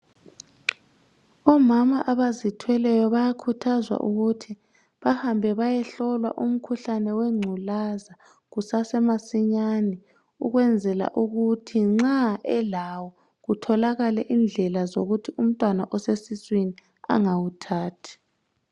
Omama abazithweleyo bayakhuthazwa ukuthi bahambe bayehlolwa umkhuhlane wengculaza kusasemasinyane ukwenzela ukuthi nxa elawo kutholakale indlela zokuthi umntwana osesiswini angawuthathi.